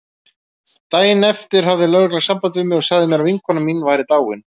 Daginn eftir hafði lögreglan samband við mig og sagði mér að vinkona mín væri dáin.